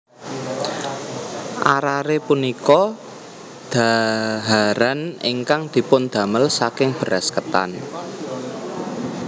Arare punika dhaharan ingkang dipundamel saking beras ketan